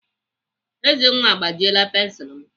Ezenwa agbajiela pensilu m.